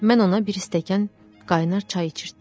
Mən ona bir stəkan qaynar çay içirtdim.